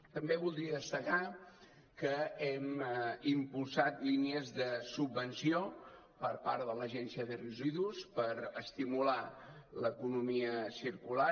també voldria destacar que hem impulsat línies de subvenció per part de l’agència de residus per estimular l’economia circular